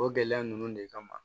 O gɛlɛya ninnu de kama